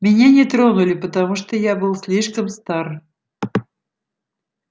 меня не тронули потому что я был слишком стар